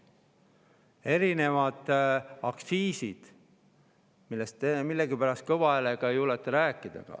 erinevad aktsiisid, millest te millegipärast kõva häälega ei julge rääkida.